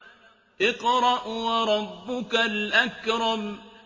اقْرَأْ وَرَبُّكَ الْأَكْرَمُ